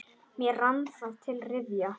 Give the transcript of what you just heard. Mér rann það til rifja.